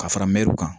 Ka fara mɛruw kan